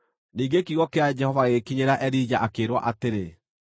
Ningĩ kiugo kĩa Jehova gĩgĩkinyĩra Elija akĩĩrwo atĩrĩ,